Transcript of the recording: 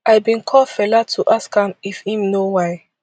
i bin call fela to ask am if im know why